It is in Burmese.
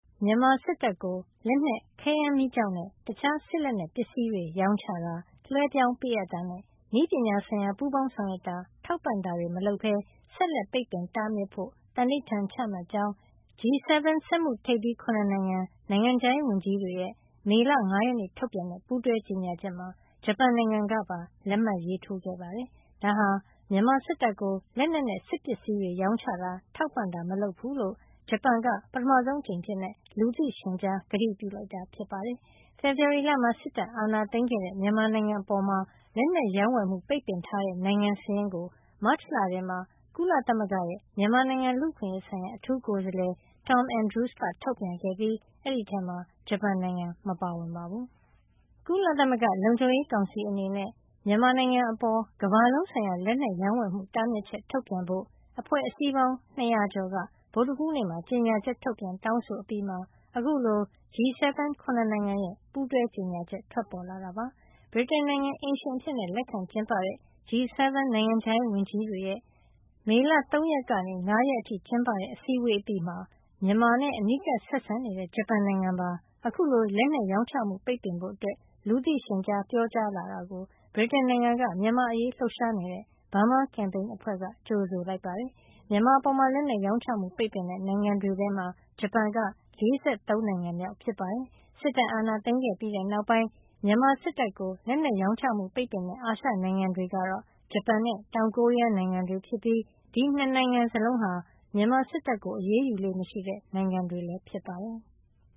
မြန်မာစစ်တပ်ကို လက်နက်၊ ခဲယမ်းမီးကျောက်နဲ့ တခြားစစ်လက်နက်ပစ္စည်းတွေ ရောင်းချတာ လွှဲပြောင်းပေးအပ်တာနဲ့ နည်းပညာဆိုင်ရာ ပူးပေါင်းဆောင်ရွက်တာ ထောက်ပံ့တာတွေ မလုပ်ပဲ ဆက်လက် ပိတ်ပင်တားမြစ်ဖို့ သန္နိဋ္ဌာန်ချမှတ်ကြောင်း G7 စက်မှုထိပ်သီး ၇ နိုင်ငံ- နိုင်ငံခြားရေးဝန်ကြီးတွေရဲ့ မေလ ၅ ရက်နေ့ ထုတ်ပြန်တဲ့ ပူးတွဲကြေညာချက်မှာ ဂျပန်နိုင်ငံကပါ လက်မှတ်ရေးထိုးခဲ့ပါတယ်။ ဒါဟာ မြန်မာစစ်တပ်ကို လက်နက်နဲ့ စစ်ပစ္စည်းတွေ ရောင်းချတာ ထောက်ပံ့တာ မလုပ်ဖူးလို့ ဂျပန်က ပထမဆုံးအကြိမ် အဖြစ် လူသိရှင်ကြား ကတိပြုလိုက်တာ ဖြစ်ပါတယ်။ ဖေဖေါ်ဝါရီလမှာ စစ်တပ်အာဏာသိမ်းခဲ့တဲ့ မြန်မာနိုင်ငံအပေါ် လက်နက်ရောင်းဝယ်မှု ပိတ်ပင်ထားတဲ့ နိုင်ငံစာရင်းကို မတ်လထဲမှာ ကုလသမဂ္ဂရဲ့ မြန်မာနိုင်ငံလူ့အခွင့်ရေးဆိုင်ရာ အထူးကိုယ်စားလှယ် Tom Andrews က ထုတ်ပြန်ခဲ့ပြီး အဲဒီထဲမှာ ဂျပန်နိုင်ငံ မပါဝင်ပါဘူး။ ကုလသမဂ္ဂလုံခြုံရေးကောင်စီ အနေနဲ့ မြန်မာနိုင်ငံအပေါ် ကမ္ဘာလုံးဆိုင်ရာ လက်နက်ရောင်းဝယ်မှုတားမြစ်ချက် ထုတ်ပြန်ဖို့ အဖွဲ့အစည်းပေါင်း ၂၀၀ ကျော်က ဗုဒ္ဓဟူးနေ့က ကြေညာချက် ထုတ်ပြန် တောင်းဆိုအပြီးမှာ အခုလို G7 ၇ နိုင်ငံရဲ့ ပူးတွဲကြေညာချက် ထွက်ပေါ်လာတာပါ။ ဗြိတိန်နိုင်ငံ အိမ်ရှင်အဖြစ်လက်ခံကျင်းပတဲ့ G7 နိုင်ငံခြားရေးဝန်ကြီးတွေရဲ့ မေလ ၃ ရက်နေ ၅ ရက်နေ့အထိ ကျင်းပတဲ့ အစည်းဝေး အပြီးမှာ မြန်မာနဲ့အနီးကပ်ဆက်ဆံနေတဲ့ ဂျပန်နိုင်ငံပါ အခုလို လက်နက်ရောင်းချမှု ပိတ်ပင်ဖို့ လူသိရှင်ကြားပြောကြားလာတာ ကို ဗြိတိန်က မြန်မာ့အရေးလှုပ်ရှားနေတဲ့ Burma Campaign အဖွဲ့က ကြိုဆိုလိုက်ပါတယ်။ မြန်မာအပေါ် လက်နက်ရောင်းချမှုပိတ်ပင်တဲ့ နိုင်ငံတွေထဲမှာ ဂျပန်က ၄၃ နိုင်ငံမြောက်ဖြစ်ပါတယ်။ စစ်တပ်အာဏာသိမ်းခဲ့ပြီးနောက်ပိုင်း မြန်မာစစ်တပ်ကို လက်နက်ရောင်းချမှုပိတ်ပင်တဲ့ အာရှနိုင်ငံတွေကတော့ ဂျပန်နဲ့ တောင်ကိုရီးယားနိုင်ငံတွေ ဖြစ်ပြီး ဒီ ၂ နိုင်ငံစလုံးဟာ မြန်မာစစ်တပ်ကို အရေးယူလေ့မရှိတဲ့ နိုင်ငံတွေ ဖြစ်ပါတယ်။